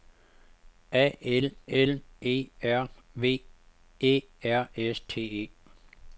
A L L E R V Æ R S T E